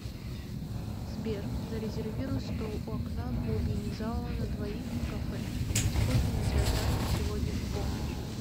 сбер зарезервируй стол у окна в глубине зала на двоих в кафе пить кофе на театральном сегодня в полночь